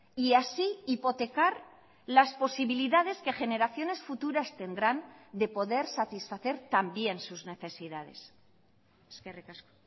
y así hipotecar las posibilidades que generaciones futuras tendrán de poder satisfacer también sus necesidades eskerrik asko